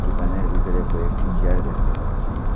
দোকানের ভিতরে কয়েকটি চেয়ার দেখতে পাচ্ছি।